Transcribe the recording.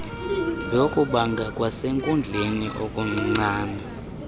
yokubanga kwasenkundleni okuncincne